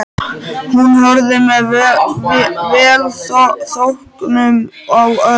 Hún horfði með velþóknun á Örn.